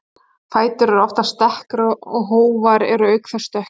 Fætur eru oftast dekkri og hófar eru auk þess dökkir.